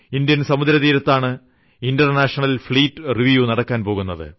Indian സമുദ്രതീരത്താണ് international fleet review നടക്കാൻ പോകുന്നത്